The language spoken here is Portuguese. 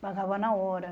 Pagava na hora.